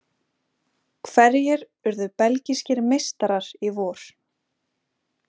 Hverjir urðu belgískir meistarar í vor?